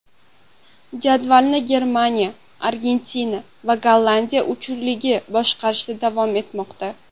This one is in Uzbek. Jadvalni Germaniya, Argentina va Gollandiya uchligi boshqarishda davom etmoqda.